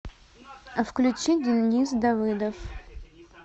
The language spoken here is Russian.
включи денис давыдов